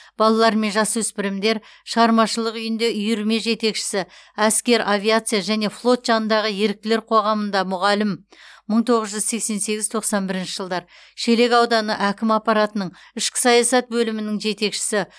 балалар мен жасөспірімдер шығармашылық үйінде үйірме жетекшісі әскер авиация және флот жанындағы еріктілер қоғамында мұғалім мың тоғыз жүз сексен сегіз тоқсан бірінші жылдар шелек ауданы әкім аппаратының ішкі саясат бөлімінің жетекшісі